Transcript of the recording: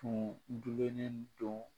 Tuun jogennen don